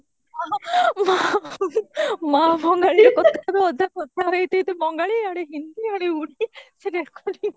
ମା ବଙ୍ଗାଳୀରେ କଥା ହେବେ ଅଧା କଥା ହେଇଥିବେ ତ ବଙ୍ଗାଳୀ ଇଆଡେ ହିନ୍ଦୀ ଇଆଡେ ଓଡିଆ ସେ recording